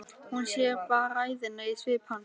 Hún sér bræðina í svip hans.